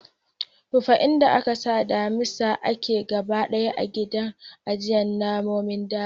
Rufe inda ake sa damisa ake gaba ɗaya a gidan ajiye namonin daji.